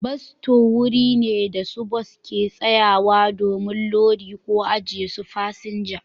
Bas sto wuri ne da su bas ke sayawa domin lodi ko ajiye su fasinja.